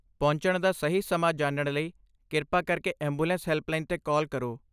ਪਹੁੰਚਣ ਦਾ ਸਹੀ ਸਮਾਂ ਜਾਣਨ ਲਈ ਕਿਰਪਾ ਕਰਕੇ ਐਂਬੂਲੈਂਸ ਹੈਲਪਲਾਈਨ 'ਤੇ ਕਾਲ ਕਰੋ।